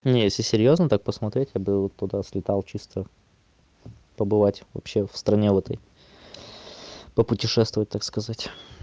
не если серьёзно так посмотреть я бы вот туда слетал чисто побывать вообще в стране в этой попутешествовать так сказать